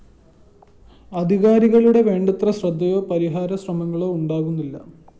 അധികാരികളുടെ വേണ്ടത്ര ശ്രദ്ധയോ പരിഹാരശ്രമങ്ങളോ ഉണ്ടാകുന്നില്ല